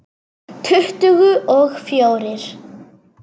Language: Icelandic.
Tuttugu og fjórir!